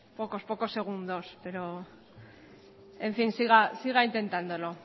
pocos segundos pero en fin siga intentándolo